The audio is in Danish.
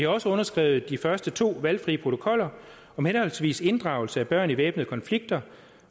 også underskrevet de første to valgfri protokoller henholdsvis om inddragelse af børn i væbnede konflikter